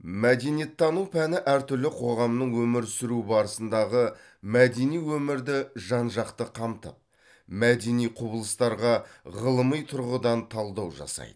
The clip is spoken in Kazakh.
мәдениеттану пәні әр түрлі қоғамның өмір сүруі барысындағы мәдени өмірді жан жақты қамтып мәдени құбылыстарға ғылыми тұрғыдан талдау жасайды